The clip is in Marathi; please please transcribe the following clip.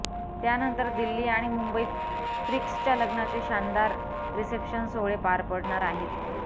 त्यानंतर दिल्ली आणि मुंबईत प्रिक्सच्या लग्नाचे शानदार रिसेप्शन सोहळे पार पडणार आहेत